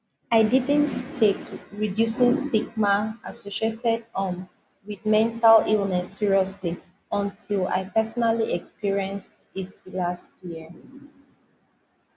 i didnt take reducing stigma associated um wit mental illness seriously until i personally experienced it last year